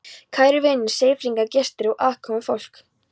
Kæru vinir, Seyðfirðingar, gestir og aðkomufólk